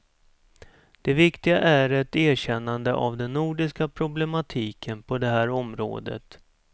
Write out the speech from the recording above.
Det viktiga är ett erkännande av den nordiska problematiken på det här området.